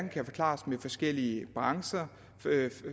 kan forklares med forskellige brancher